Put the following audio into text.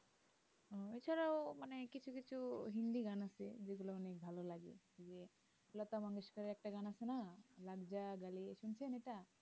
এ ছাড়াও মানে কিছু কিছু হিন্দি গান আছে যেগুলো অনিক ভালো লাগে এ লতা মঙ্গেশকারের একটা গান আছে না लगजा गले শুনেছ এটা